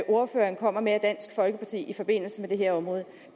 ordføreren kommer med i forbindelse med det her område